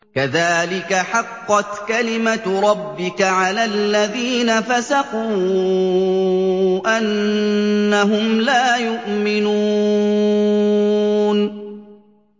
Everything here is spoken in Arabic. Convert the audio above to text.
كَذَٰلِكَ حَقَّتْ كَلِمَتُ رَبِّكَ عَلَى الَّذِينَ فَسَقُوا أَنَّهُمْ لَا يُؤْمِنُونَ